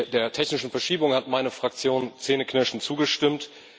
Der technischen Verschiebung hat meine Fraktion zähneknirschend zugestimmt.